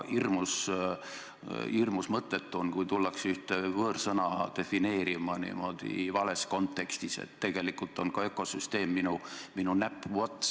Hirmus mõttetu on, kui hakatakse ühte võõrsõna defineerima vales kontekstis, näiteks et tegelikult on ökosüsteem ka minu näpuots.